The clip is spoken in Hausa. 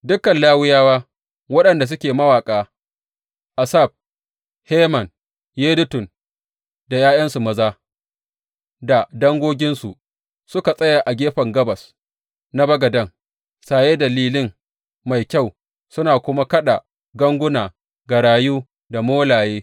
Dukan Lawiyawa waɗanda suke mawaƙa, Asaf, Heman, Yedutun da ’ya’yansu maza da dangoginsu, suka tsaya a gefen gabas na bagaden, saye da lilin mai kyau suna kuma kaɗa ganguna, garayu da molaye.